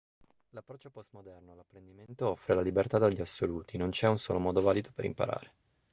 l'approccio post-moderno all'apprendimento offre la libertà dagli assoluti non c'è un solo modo valido per imparare